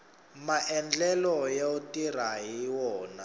maendlelo yo tirha hi wona